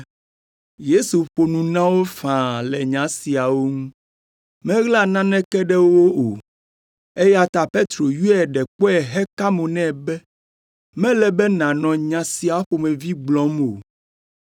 Yesu ƒo nu na wo faa le nya siawo ŋu, meɣla naneke ɖe wo o, eya ta Petro yɔe ɖe kpɔe heka mo nɛ be, “Mele be nànɔ nya sia ƒomevi gblɔm o.”